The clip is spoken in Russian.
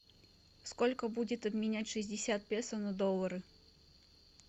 сколько будет обменять шестьдесят песо на доллары